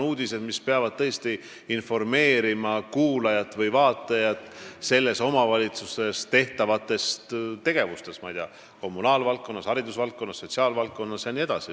Uudised peavad tõesti informeerima kuulajat või vaatajat selles omavalitsuses tehtavatest tegevustest kommunaalvaldkonnas, haridusvaldkonnas, sotsiaalvaldkonnas jne.